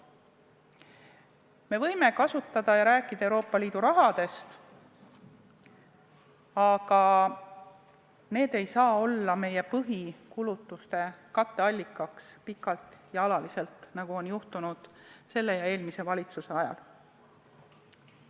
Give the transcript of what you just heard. Me võime kasutada Euroopa Liidu raha ja rääkida sellest, aga see ei saa olla meie põhikulutuste katteallikaks pikalt ja alaliselt, nagu on juhtunud selle ja eelmise valitsuse ajal.